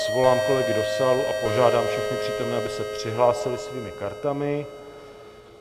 Svolám kolegy do sálu a požádám všechny přítomné, aby se přihlásili svými kartami.